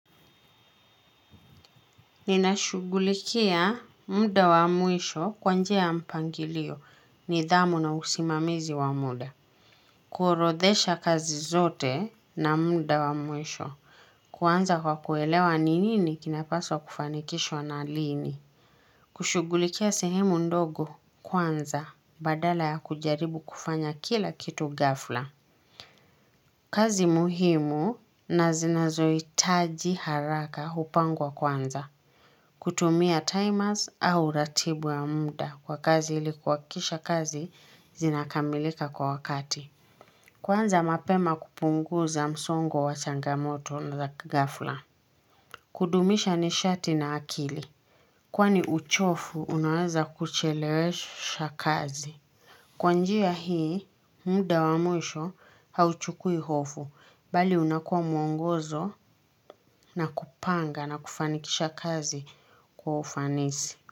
Ninashughulikia muda wa mwisho kwa njia ya mpangilio nidhamu na usimamizi wa muda. Kuorodhesha kazi zote na muda wa mwisho kwanza kwa kuelewa nini kinapaswa kufanikishwa na lini. Kushughulikia sehemu ndogo kwanza badala ya kujaribu kufanya kila kitu gafla. Kazi muhimu na zinazohitaji haraka hupangwa kwanza. Kutumia timers au ratibu ya muda kwa kazi ilikuhakikisha kazi zinakamilika kwa wakati. Kwanza mapema kupunguza msongo wa changamoto na za ghafla. Kudumisha nishati na akili. Kwani uchovu, unaweza kuchelewesha kazi. Kwa njia hii, muda wa mwisho hauchukui hofu, bali unakuwa mwongozo na kupanga na kufanikisha kazi kwa ufanisi.